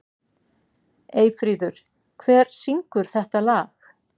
Eyfríður, hver syngur þetta lag?